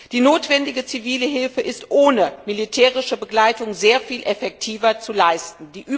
Die notwendige zivile Hilfe ist ohne militärische Begleitung sehr viel effektiver zu leisten.